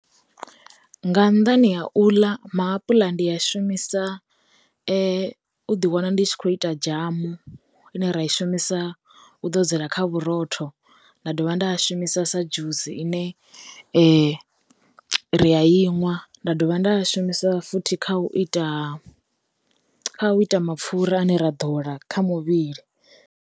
Nga nnḓani a u ḽa, maapuḽa ndi a shumisa u ḓi wana ndi tshi kho ita dzhamu ine ra i shumisa u ḓo dzela kha vhurotho, nda dovha shumisa sa dzhusi ine ri ya i ṅwa, nda dovha nda shumisa futhi kha u ita kha u ita mapfura ane ra ḓola kha muvhili.